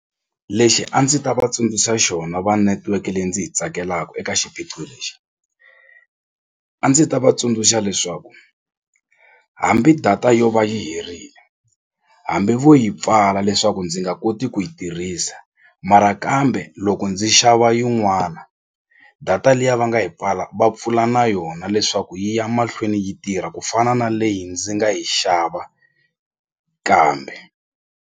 Lexi a ndzi ta va tsundzuxa xona va netiweke leyi ndzi yi tsakelaka eka xiphiqo lexi a ndzi ta va tsundzuxa leswaku hambi data yo va yi herile hambi vo yi pfala leswaku ndzi nga koti ku yi tirhisa mara kambe loko ndzi xava yin'wana data liya va nga yi pfala va pfula na yona leswaku yi ya mahlweni yi tirha ku fana na leyi ndzi nga yi xava kambe.